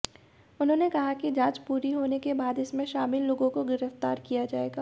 उन्होंने कहा कि जांच पूरी होने के बाद इसमें शामिल लोगों को गिरफ्तार किया जाएगा